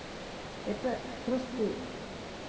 это просто